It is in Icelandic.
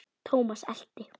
Thomas elti.